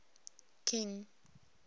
king